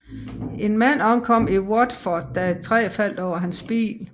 En mand omkom i Watford da et træ faldt over hans bil